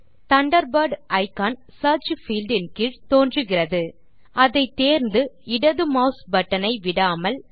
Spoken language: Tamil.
தண்டர்பர்ட் இக்கான் சியர்ச் பீல்ட் இன் கீழ் தோன்றுகிறது அதை தேர்ந்து இடது மாஸ் பட்டன் ஐ விடாமல்